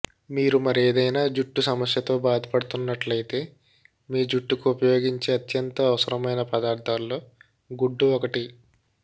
మీరు మరేదైన జుట్టు సమస్యతో బాధపడుతున్నట్లైతే మీ జుట్టుకు ఉపయోగించే అత్యంత అవసరమైన పదార్థాల్లో గుడ్డు ఒకటి